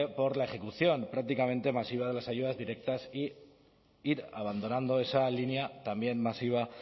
por la ejecución prácticamente masiva de las ayudas directas e ir abandonando esa línea también masiva